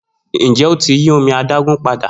Njẹ o ti yi omi adagun pada?